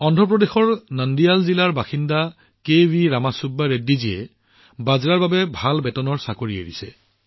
অন্ধ্ৰ প্ৰদেশৰ নন্দিয়াল জিলাৰ বাসিন্দা কেভি ৰামা চুব্বা ৰেড্ডীজীয়ে বাজৰাৰ বাবে এটা ভাল বেতনৰ চাকৰি ত্যাগ কৰিছিল